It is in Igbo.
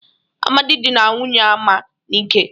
Amadị dịnara nwunye Ama n'ike.